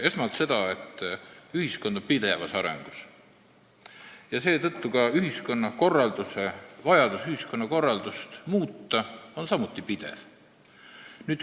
Esmalt seda, et ühiskond on pidevas arengus ja seetõttu on ka vajadus ühiskonnakorraldust muuta pidev.